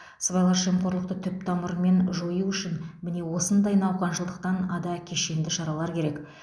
сыбайлас жемқорлықты түп тамырымен жою үшін міне осындай науқаншылдықтан ада кешенді шаралар керек